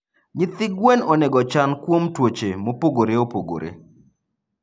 Nyithi gwen onego ochan kuom tuoche mopogore opogore.